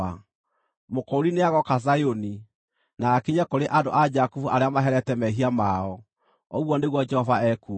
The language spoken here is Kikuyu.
“Mũkũũri nĩagooka Zayuni, na akinye kũrĩ andũ a Jakubu arĩa maherete mehia mao,” ũguo nĩguo Jehova ekuuga.